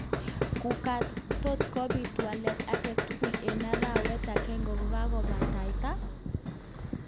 Kugat:tot kobit walet agetugul eng arawet agenge kokakobataita?